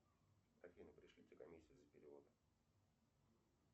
афина пришлите комиссию за перевод